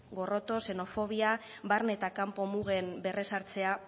gorroto xenofobia barne eta kanpo mugen berresartzea